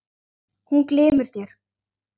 Hún glymur þér.